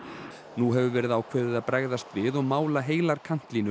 nú hefur verið ákveðið að bregðast við og mála heilar